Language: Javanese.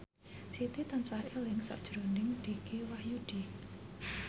Siti tansah eling sakjroning Dicky Wahyudi